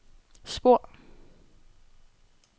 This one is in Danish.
spor